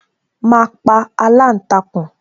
Ma pa aláǹtakùn